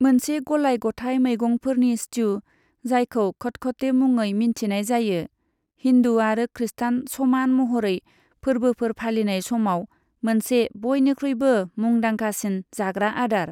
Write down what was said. मोनसे गलाय गथाय मैगंफोरनि स्ट्यु, जायखौ खटखटे मुङै मिन्थिनाय जायो, हिन्दु आरो खृष्टान समान महरै फोर्बोफोर फालिनाय समाव मोनसे बयनिख्रुयबो मुंदांखासिन जाग्रा आदार।